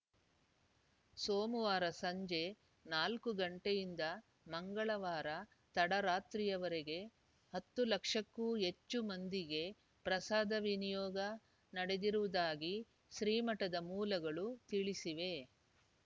ಸೋಮವಾರ ಸಂಜೆ ನಾಲ್ಕು ಗಂಟೆಯಿಂದ ಮಂಗಳವಾರ ತಡರಾತ್ರಿವರೆಗೆ ಹತ್ತು ಲಕ್ಷಕ್ಕೂ ಹೆಚ್ಚು ಮಂದಿಗೆ ಪ್ರಸಾದ ವಿನಿಯೋಗ ನಡೆದಿರುವುದಾಗಿ ಶ್ರೀಮಠದ ಮೂಲಗಳು ತಿಳಿಸಿವೆ